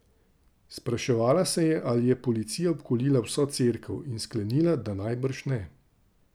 Spraševala se je, ali je policija obkolila vso cerkev, in sklenila, da najbrž ne.